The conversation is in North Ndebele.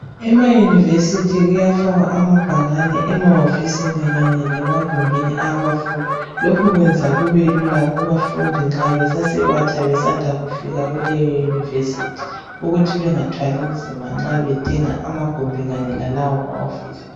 ema university kuyafakwa ambhakane emahofisini lasemagumbini wabafundi lokho kuyenza kubelula kubantwana nxa besanda kuvikha kuleyi university ukuthi bengathwali nzima mxa bedinga lawa amagumbi kanye lama hofisi